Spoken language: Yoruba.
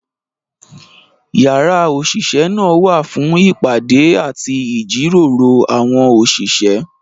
Yàrá òṣìṣẹ́ náà wà fún ìpàdé àti ìjíròrò àwọn òṣìṣẹ́.